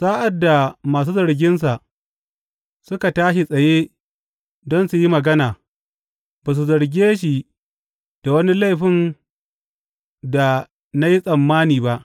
Sa’ad da masu zarginsa suka tashi tsaye don su yi magana, ba su zarge shi da wani laifin da na yi tsammani ba.